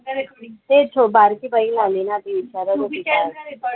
ते बारकी बहीण आली आहे ना ती विचारत होती का